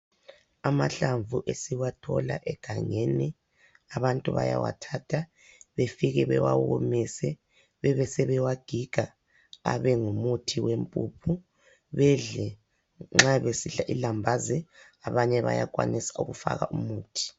Amahlamvu esiwathola egangeni, abantu bayawathatha befike bewawomise bebe sebewagiga abengumuthi wempuphu. Bedle nxa besidla ilambazi, abanye bayakwanisa ukufaka umuthi.